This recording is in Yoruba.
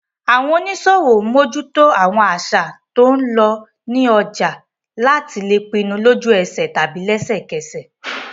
Àwọn oníṣòwò mójúto àwọn àṣà tó ń lọ ní ọjà láti lè pinnu lójú ẹsẹ̀ tàbí lẹsẹ̀ kẹsẹ̀